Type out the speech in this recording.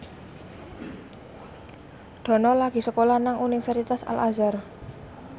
Dono lagi sekolah nang Universitas Al Azhar